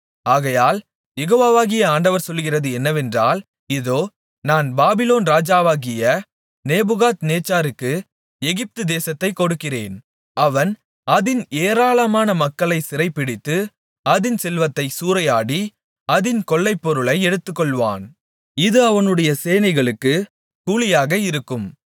ஆகையால் யெகோவாகிய ஆண்டவர் சொல்லுகிறது என்னவென்றால் இதோ நான் பாபிலோன் ராஜாவாகிய நேபுகாத்நேச்சாருக்கு எகிப்துதேசத்தைக் கொடுக்கிறேன் அவன் அதின் ஏராளமான மக்களைச் சிறைபிடித்து அதின் செல்வத்தைச் சூறையாடி அதின் கொள்ளைப்பொருளை எடுத்துக்கொள்வான் இது அவனுடைய சேனைக்குக் கூலியாக இருக்கும்